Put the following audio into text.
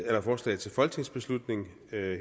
at forslaget til folketingsbeslutning